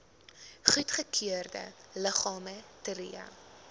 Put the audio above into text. goedgekeurde liggame tree